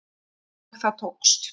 Og það tókst